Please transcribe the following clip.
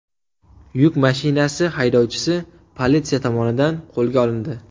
Yuk mashinasi haydovchisi politsiya tomonidan qo‘lga olindi.